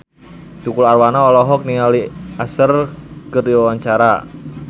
Tukul Arwana olohok ningali Usher keur diwawancara